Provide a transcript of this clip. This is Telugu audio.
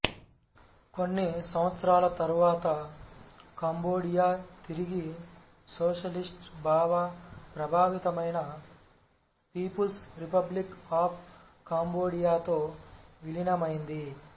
కొన్ని సంవత్సరాల తరువాత కంబోడియా తిరిగి సోషలిస్ట్ భావ ప్రభావితమైన పీపుల్స్ రిపబ్లిక్ ఆఫ్ కంబోడియాతో విలీనమైంది